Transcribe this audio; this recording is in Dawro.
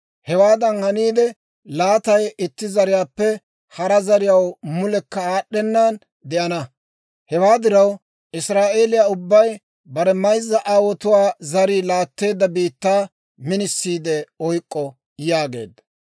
Hewaadan haniide, laatay itti zariyaappe hara zariyaw mulekka aad'd'ennan de'ana. Hewaa diraw, Israa'eeliyaa ubbay bare mayzza aawotuwaa zarii laatteedda biittaa minisiide oyk'k'o» yaageedda.